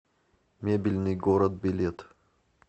мебельный город билет